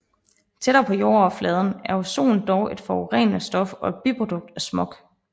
Tættere på jordoverfladen er ozon dog et forurenende stof og et biprodukt af smog